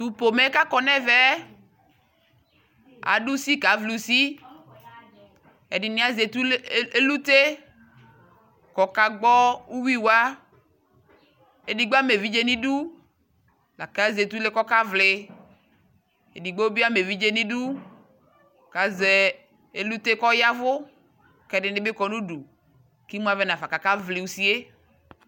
Tʋ pomɛ kʋ akɔnɛ mɛ ɛ, adʋ usi kavli usi Ɛdini azɛ ɛlʋte kʋ ɔkagbɔ uwui wa Ɛdigbo ama evidze ni dʋ kʋ azɛ ɛlʋtɛ kɔkavli Ɛdigbo bi ama evidze ni dʋ kʋ azɛ ɛlʋte kʋ ɔyavʋ kʋ ɛdini bi kɔ nudu kʋ imu avɛ nafa kakavli usi e